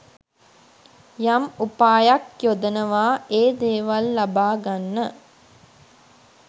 යම් උපායක් යොදනවා ඒ දේවල් ලබාගන්න